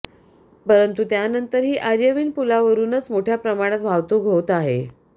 परंत त्यानंतरही आयर्विन पुलावरूनच मोठ्या प्रमाणात वाहतूक होत आहे